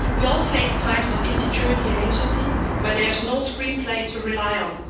We all face times of insecurity and anxiety, where there is no screenplay to rely on.